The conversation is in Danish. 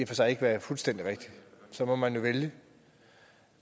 for sig ikke være fuldstændig rigtigt så må man vælge det